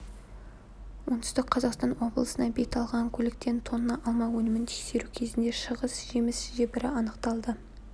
оңтүстік қазақстан облысына бет алған көліктен тонна алма өнімін тексеру кезінде шығыс жеміс жебірі анықталды